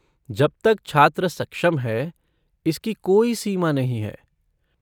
जब तक छात्र सक्षम है, इसकी कोई सीमा नहीं है।